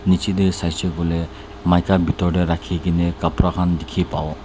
niche te sai shey koi le maika pitor te rakhi kene kapara khan dikhi pawo.